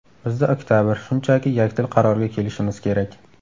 Bizda oktabr, shunchaki yakdil qarorga kelishimiz kerak.